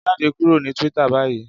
Jade kuro ni Twitter bayi!